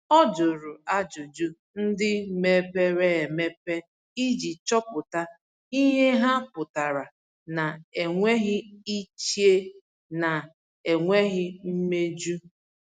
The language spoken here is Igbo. Ọ jụrụ ajụjụ ndị mepere emepe iji chọpụta ihe ha pụtara na-enweghị iche na e nwere mmejọ.